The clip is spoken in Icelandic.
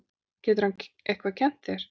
Getur hann eitthvað kennt þér?